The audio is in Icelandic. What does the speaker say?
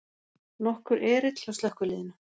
Nokkur erill hjá slökkviliðinu